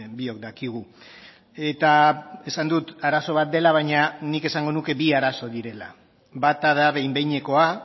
biok dakigu eta esan dut arazo bat dela baina nik esango nuke bi arazo direla bata da behin behinekoa